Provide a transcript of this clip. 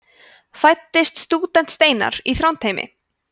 fæddist stúdent steinar í þrándheimi